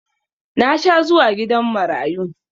Na sha zuwa gidan marayu